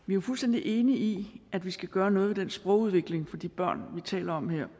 vi er fuldstændig enige i at vi skal gøre noget ved sprogudviklingen for de børn vi taler om her